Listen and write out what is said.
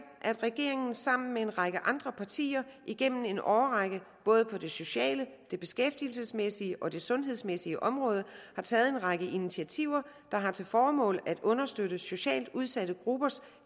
at regeringen sammen med en række andre partier igennem en årrække både på det sociale det beskæftigelsesmæssige og det sundhedsmæssige område har taget en række initiativer der har til formål at understøtte socialt udsatte gruppers